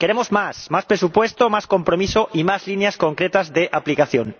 Queremos más, más presupuesto, más compromiso y más líneas concretas de aplicación.